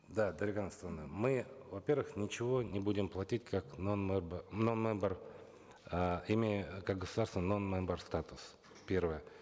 да дарига нурсултановна мы во первых ничего не будем платить как нон мембер э имея как государство нон мембер статус первое